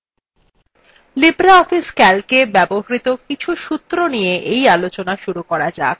libreoffice calcএ ব্যবহৃত কিছু সূত্র নিয়ে এই আলোচনা শুরু করা যাক